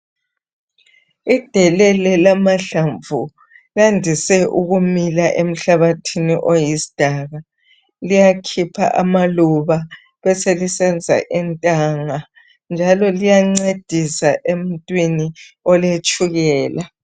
Idelele lamahlamvu landise ukumila emhlabathini oyisidaka liyakhipha amaluba libe selisenza intanga njalo liyancedisa emuntwini oletshukela.